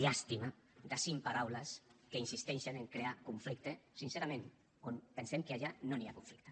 llàstima de cinc paraules que insisteixen en crear conflicte sincerament on pensem que allà no hi ha conflicte